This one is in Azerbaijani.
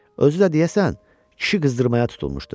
Özü də deyəsən, kişi qızdırmağa tutulmuşdu.